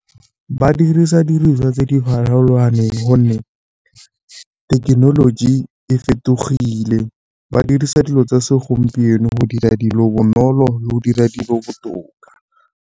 Ba dirisa di diriswa tse di farologaneng gonne thekenoloji e fetogile, ba dirisa dilo tsa segompieno go dira dilo bonolo le go dira dilo botoka.